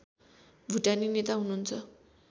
भुटानी नेता हुनुहुन्छ